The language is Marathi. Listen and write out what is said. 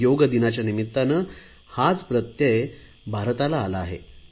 योगदिनाच्या निमित्ताने हाच प्रत्यय भारताला आला आहे